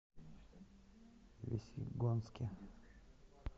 весьегонске